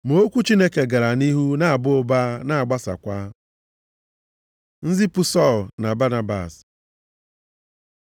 Ma okwu Chineke gara nʼihu na-aba ụba na-agbasakwa. Nzipụ Sọl na Banabas